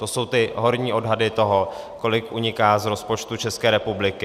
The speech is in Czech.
To jsou ty horní odhady toho, kolik uniká z rozpočtu České republiky.